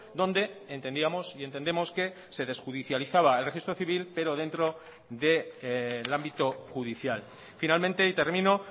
donde entendíamos y entendemos que se desjudicializaba el registro civil pero dentro del ámbito judicial finalmente y termino